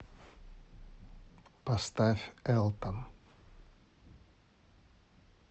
поставь элтон